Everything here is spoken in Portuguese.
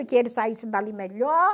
que ele saísse dali melhor.